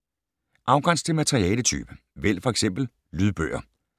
Afgræns til materialetype: vælg f.eks. lydbøger